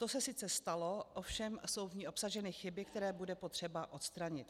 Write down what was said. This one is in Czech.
To se sice stalo, ovšem jsou v ní obsaženy chyby, které bude potřeba odstranit.